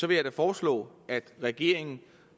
vil jeg da foreslå at regeringen